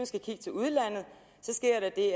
skal kigge til udlandet sker der det